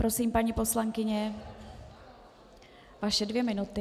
Prosím, paní poslankyně, vaše dvě minuty.